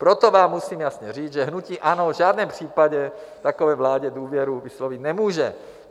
Proto vám musím jasně říct, že hnutí ANO v žádném případě takové vládě důvěru vyslovit nemůže.